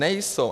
Nejsou.